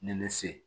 Ne bɛ se